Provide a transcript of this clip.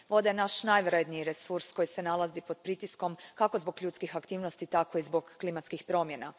Voda je naš najvrjedniji resurs koji se nalazi pod pritiskom, kako zbog ljudskih aktivnosti, tako i zbog klimatskih promjena.